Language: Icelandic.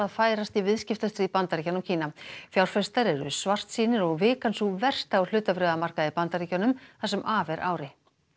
færast í viðskiptastríð Bandaríkjanna og Kína fjárfestar eru svartsýnir og vikan sú versta á hlutabréfamarkaði í Bandaríkjunum það sem af er ári